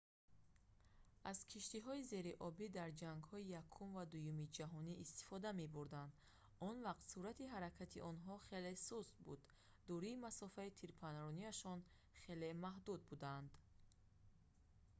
аз киштиҳои зериобӣ дар ҷангҳои якум ва дуюми ҷаҳонӣ истифода мебурданд он вақт суръати ҳаракати онҳо хеле суст буда дурии масофаи тирпарронияшон хеле маҳдуд буданд